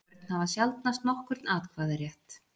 Börn hafa sjaldnast nokkurn atkvæðarétt.